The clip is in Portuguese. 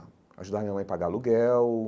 Ajudava a minha mãe a pagar aluguel.